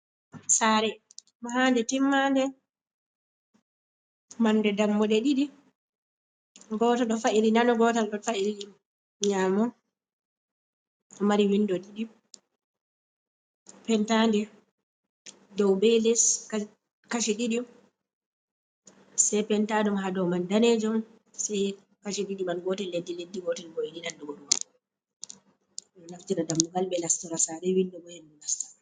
Sare mahande timmande marnde dammuɗe ɗiɗi ngota ɗo fa’ili nano, gotel ɗo fa’ili nyamo, ɗo mari windo ɗiɗi pentande dow be les kashe ɗiɗi sei penta ɗum ha dou man danejum sei kashi ɗiɗi man gotel leddi leddi, gotel bo yidi nandugo ɗo man ɗo naftira dammugal ɓe nastora sare windo bo hendu nasta.